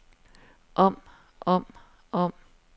om om om